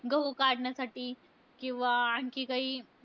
गहू काढण्यासाठी किंवा आणखी काही,